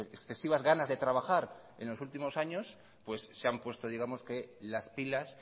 excesivas ganas de trabajar en los últimos años se han puesto las pilas